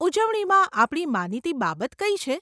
ઉજવણીમાં આપણી માનીતી બાબત કઈ છે?